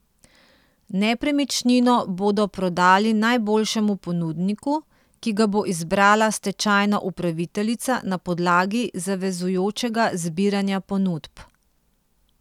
Nepremičnino bodo prodali najboljšemu ponudniku, ki ga bo izbrala stečajna upraviteljica na podlagi zavezujočega zbiranja ponudb.